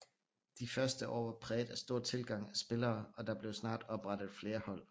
De første år var præget af stor tilgang af spillere og der blev snart oprettet flere hold